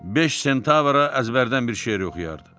Beş sentavra əzbərdən bir şeir oxuyardı.